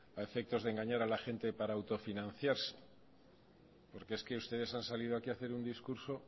a efectos de engañar a la gente para autofinanciarse porque es que ustedes han salido aquí a hacer un discurso